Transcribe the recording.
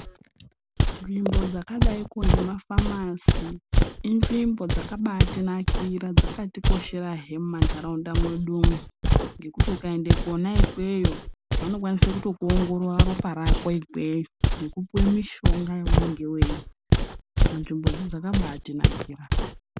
Nzvimbo dzakadaiko ngemafamasi inzvimbo dzakabatinakira dzakatikosherahe muma ntaraunda mwedumwo. Ngekuti ukaende kona ikweyi vanokwanisa kutokuongorora ropa rako ikweyo. Nekupuva mishonga yaunenge veirya, saka nzvimbodzi dzakabatinakira.